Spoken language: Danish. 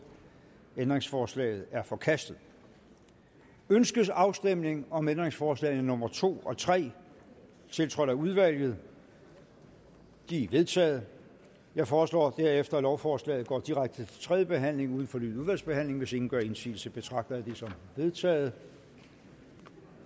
ændringsforslaget er forkastet ønskes afstemning om ændringsforslag nummer to og tre tiltrådt af udvalget de er vedtaget jeg foreslår at lovforslaget går direkte til tredje behandling uden fornyet udvalgsbehandling hvis ingen gør indsigelse betragter jeg det som vedtaget